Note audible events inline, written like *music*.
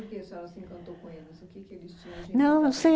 Por que a senhora se encantou com eles? O que que eles tinham *unintelligible*